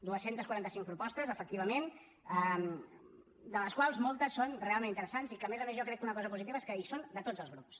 dues centes quaranta cinc propostes efectivament de les quals moltes són realment interessants i que a més a més jo crec que una cosa positiva és que són de tots els grups